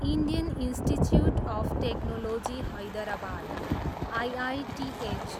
Indian Institute of Technology Hyderabad, IITH